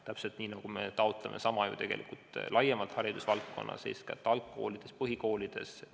Täpselt sama taotleme ju tegelikult haridusvaldkonnas laiemalt, eeskätt alg- ja põhikoolides.